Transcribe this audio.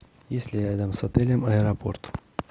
есть ли рядом с отелем аэропорт